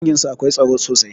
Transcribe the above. Danginsu akwai tsaro sosai